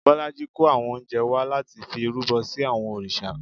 Bọlájí kó àwọn oúnjẹ wá láti fi rúbọ sí àwọn òrìṣà